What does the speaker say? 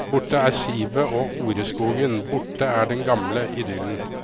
Borte er sivet og oreskogen, borte er den gamle idyllen.